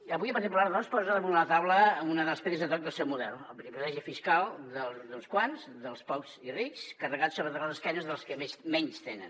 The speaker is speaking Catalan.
i avui el partit popular doncs posa damunt la taula una de les pedres de toc del seu model el privilegi fiscal d’uns quants dels pocs i rics carregat sobre les esquenes dels que menys tenen